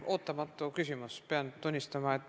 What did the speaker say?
Ootamatu küsimus, pean tunnistama.